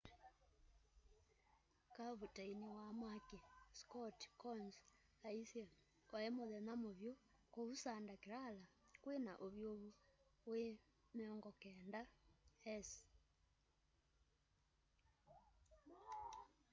kavuteini wa mwaki scott kouns aisye wai muthenya muvyu kuu santa clara kwina uvyuvu wi 90s